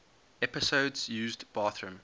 episodes used bathroom